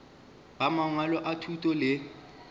ba mangwalo a thuto le